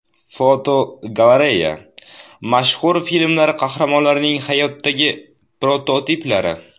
Fotogalereya: Mashhur filmlar qahramonlarining hayotdagi prototiplari.